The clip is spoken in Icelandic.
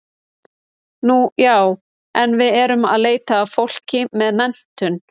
Nú já, en við erum að leita að fólki með menntun.